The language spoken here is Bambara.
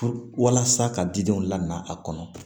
Walasa ka di denw lamɛn a kɔnɔ